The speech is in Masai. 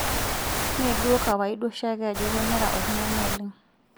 Mee duo kawaida oshiake ajo kemera oltung'ani oleng'.